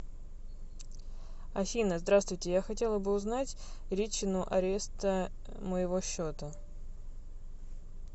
афина здравстуйте я хотела бы узнать ричину ареста моего счета